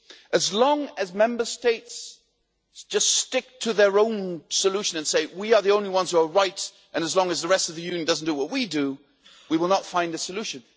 As long as Member States just stick to their own solution and say we are the only ones who are right' and as long as the rest of the Union does not do what we do, we will not find a solution.